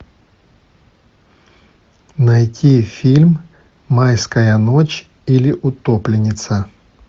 найти фильм майская ночь или утопленница